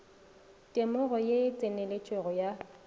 temogo ye e tseneletšego ya